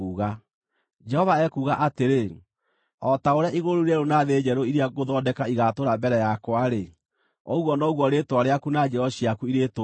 Jehova ekuuga atĩrĩ, “O ta ũrĩa igũrũ rĩu rĩerũ na thĩ njerũ iria ngũthondeka igatũũra mbere yakwa-rĩ, ũguo noguo rĩĩtwa rĩaku na njiaro ciaku irĩtũũraga.